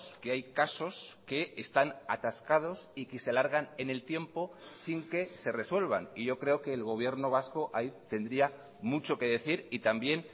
que hay casos que están atascados y que se alargan en el tiempo sin que se resuelvan y yo creo que el gobierno vasco ahí tendría mucho que decir y también